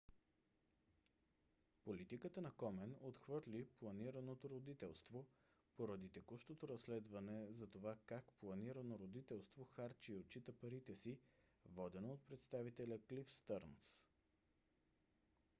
политиката на комен отхвърли планираното родителство поради текущото разследване за това как планирано родителство харчи и отчита парите си водено от представителя клиф стърнс